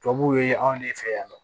Tubabuw ye anw de fɛ yan nɔ